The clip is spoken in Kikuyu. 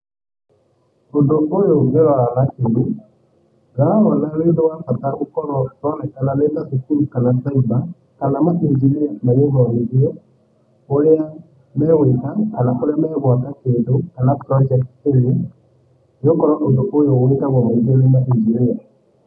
Ũndũ ũyũ ũngĩrora na kinyi, ndĩrawona wĩ ũndũ wa bata gũkorwo ũronekana nĩtacukuru kana cyber, kana mainjiniya magĩthomithio ũrĩa magwĩka kana kũrĩa magwaka kĩndũ, kana project any. Nĩgũkorwo ũndũ ũyũ wĩkagwo kaĩngĩ nĩ mainjiniya.